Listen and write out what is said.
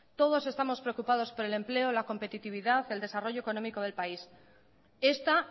todos estamos preocupados por el empleo la competitividad el desarrollo económico del país esta